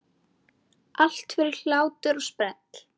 Allt fyrir hlátur og sprell!